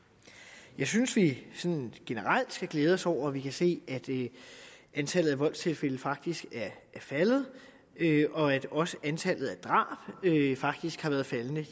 jeg synes vi generelt skal glæde os over at vi kan se at antallet af voldstilfælde faktisk er faldet og at også antallet af drab faktisk har været faldende